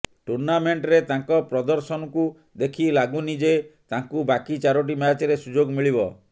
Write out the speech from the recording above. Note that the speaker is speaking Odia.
ଟୁର୍ଣ୍ଣାମେଣ୍ଟରେ ତାଙ୍କ ପ୍ରଦର୍ଶନକୁ ଦେଖି ଲାଗୁନି ଯେ ତାଙ୍କୁ ବାକି ଚାରୋଟି ମ୍ୟାଚରେ ସୁଯୋଗ ମିଳିବ